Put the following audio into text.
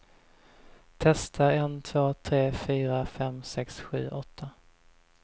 Testar en två tre fyra fem sex sju åtta.